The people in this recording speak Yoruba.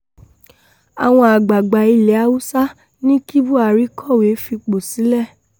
àwọn àgbààgbà ilẹ̀ haúsá ní kí buhari kọ̀wé fipò sílẹ̀